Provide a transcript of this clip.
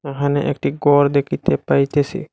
এহানে একটি গর দেখিতে পাইতেসি।